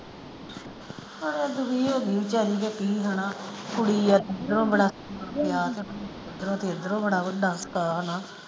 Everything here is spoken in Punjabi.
ਮੈਂ ਤਾਂ ਦੁਖੀ ਹੋ ਗਈ ਆ ਵਿਚਾਰੀ ਦਾ ਕੀ ਹੈਨਾ ਕੁੜੀ ਆ ਏਧਰੋਂ ਤੇ ਏਧਰੋਂ ਬੜਾ ਹੁੰਦਾ ਹੈਨਾ।